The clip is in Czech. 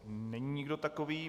Není nikdo takový.